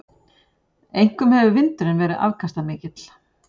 Einkum hefur vindurinn verið afkastamikill.